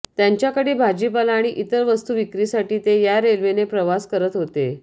त्यांच्याकडील भाजीपाला आणि इतर वस्तू विक्रीसाठी ते या रेल्वेने प्रवास करत होते